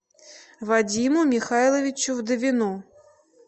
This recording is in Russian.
вадиму михайловичу вдовину